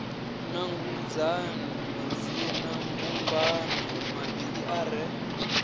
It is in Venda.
nanguludzani madzinambumbano mavhili a re